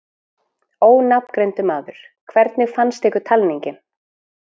Ónafngreindur maður: Hvernig fannst ykkur talningin?